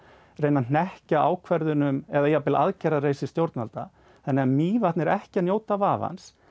reyna að hnekkja ákvörðunum eða jafnvel aðgerðarleysi stjórnvalda þannig að Mývatn er ekki að njóta vafans